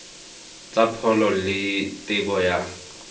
tsa pholo le tebo ya